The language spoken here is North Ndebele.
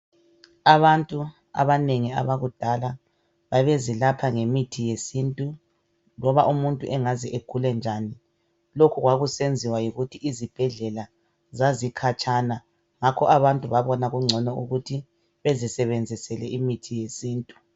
Abantu abanengi abakudala babezelapha ngemithi yesintu loba umuntu engaze agule njani lokhu kwakusenziwa yikuthi izibhedlela zazikhatshana ngakho abantu babona kungcono ukuthi bezisebenzisele imithi yesintu.